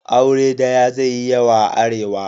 Aure daya zai yi yawa a Arewa.